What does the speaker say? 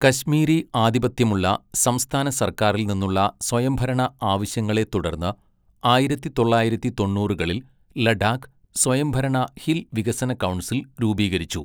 കശ്മീരി ആധിപത്യമുള്ള സംസ്ഥാന സർക്കാറിൽ നിന്നുള്ള സ്വയംഭരണ ആവശ്യങ്ങളെ തുടർന്ന്, ആയിരത്തി തൊള്ളായിരത്തി തൊണ്ണൂറുകളിൽ ലഡാക്ക് സ്വയംഭരണ ഹിൽ വികസന കൗൺസിൽ രൂപീകരിച്ചു.